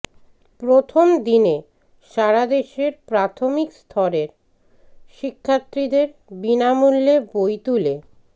প্রথম দিনে সারাদেশের প্রাথমিক স্তরের শিক্ষার্থীদের বিনামূল্যে বই তুলে